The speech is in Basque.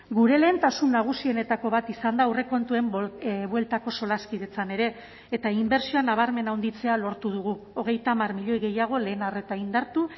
gure lehentasun nagusienetako bat izan da aurrekontuen bueltako solaskidetzan ere eta inbertsioa nabarmen handitzea lortu dugu hogeita hamar milioi gehiago lehen arreta indartu